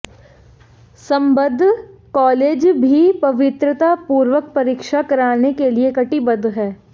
संबद्ध कालेज भी पवित्रता पूर्वक परीक्षा कराने के लिए कटिबद्ध है